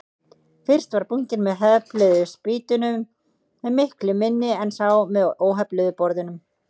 Fyrst var bunkinn með hefluðu spýtunum miklu minni en sá með óhefluðu borðunum.